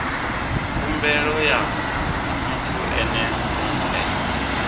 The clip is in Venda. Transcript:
khumbelo ya muthu ene mue